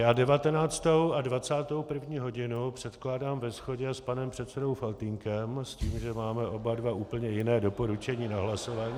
Já 19. a 21. hodinu předkládám ve shodě s panem předsedou Faltýnkem s tím, že máme oba dva úplně jiné doporučení na hlasování.